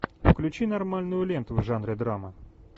включи нормальную ленту в жанре драма